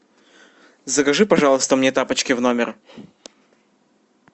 закажи пожалуйста мне тапочки в номер